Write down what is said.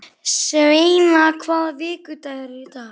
Sveina, hvaða vikudagur er í dag?